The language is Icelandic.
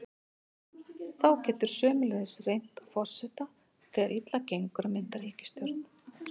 Þá getur sömuleiðis reynt á forseta þegar þegar illa gengur að mynda ríkisstjórn.